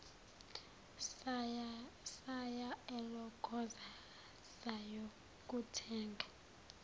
saya elokhoza sayokuthenga